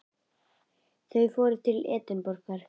Þeir fóru til Edinborgar.